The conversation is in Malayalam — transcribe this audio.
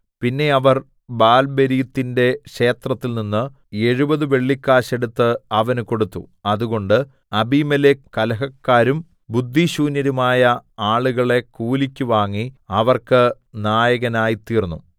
പിന്നെ അവർ ബാൽബെരീത്തിന്റെ ക്ഷേത്രത്തിൽനിന്ന് എഴുപത് വെള്ളിക്കാശ് എടുത്ത് അവന് കൊടുത്തു അതുകൊണ്ട് അബീമേലെക്ക് കലഹക്കാരും ബുദ്ധിശൂന്യരുമായ ആളുകളെ കൂലിക്ക് വാങ്ങി അവർക്ക് നായകനായ്തീർന്നു